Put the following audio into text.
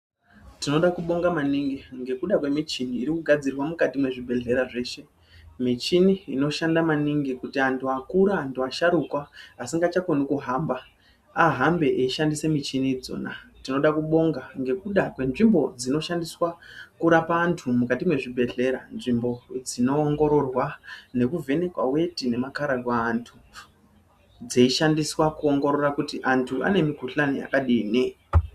Tinoda kubonga maningi ngekuda kwemichini irikugadzirwa mukati mwezvibhehlera zveshe. Michini inoshanda maningi kuti antu akura antu asharukwa asingachakoni kuhamba ahambe achishandisa michini idzona. Tinoda kubonga ngekuda kwenzvimbo dzinoshandiswa kurapa antu mukati mwezvibhehlera. Nzvimbo dzinoongororwa nekuvhenekwa weti nemakhararwa eantu dzeishandiswa kuongorora kuti antu ane mikhuhlani yakadini.